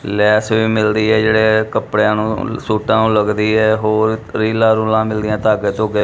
ਲੈਸ ਵੀ ਮਿਲਦੀ ਹੈ ਜੇਹੜੇ ਕਪੜਿਆਂ ਨੂੰ ਸੂਟਾਂ ਨੂੰ ਲਗਦੀ ਹੈ ਹੋਰ ਰੀਲਾਂ ਰੂਲਾਂ ਮਿਲਦੀ ਹੈਂ ਧਾਗੇ ਧੁੱਗੇ--